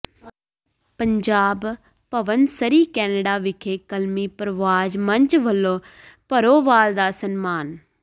Punjab Bhavan Surrey Canada ਵਿਖੇ ਕਲਮੀ ਪਰਵਾਜ਼ ਮੰਚ ਵਲੋਂ ਭਰੋਵਾਲ ਦਾ ਸਨਮਾਨ